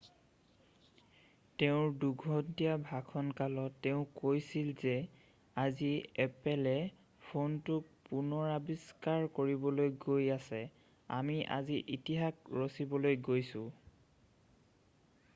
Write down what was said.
তেওঁৰ 2 ঘণ্টীয়া ভাষণ কালত তেওঁ কৈছিল যে আজি এপলে ফোনটো পুনৰাৱিষ্কাৰ কৰিবলৈ গৈ আছে আমি আজি ইতিহাস ৰছিবলৈ গৈছোঁ